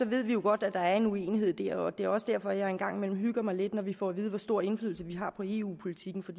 ved vi jo godt at der er en uenighed der og det er også derfor jeg en gang imellem hygger mig lidt når vi får at vide hvor stor indflydelse vi har på eu politikken for